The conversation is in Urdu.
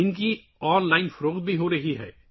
انہیں آن لائن بھی فروخت کیا جا رہا ہے